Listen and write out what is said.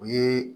O ye